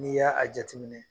N'i ye a jateminɛ